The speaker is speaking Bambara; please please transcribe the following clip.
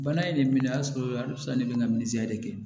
Bana in de minɛ a sɔrɔ halisa ne bɛ n ka de kɛ